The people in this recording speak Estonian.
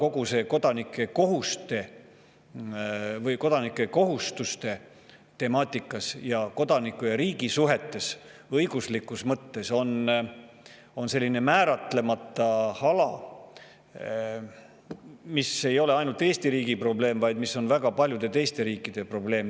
Küll aga on kogu see kodanike kohustuste ning kodaniku ja riigi vaheliste suhete õiguslik selline määratlemata ala, mis ei ole ainult Eesti riigile, vaid ka väga paljudele teistele riikidele probleem.